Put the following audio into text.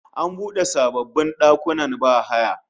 An bude sababbin dakunan bahaya